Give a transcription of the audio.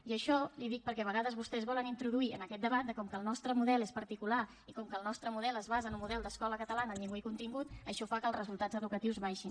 i això li dic perquè a vegades vostès volen introduir en aquest debat que com que el nostre model és particular i com que el nostre model es basa en un model d’escola catalana en llengua i contingut això fa que els resultats educatius baixin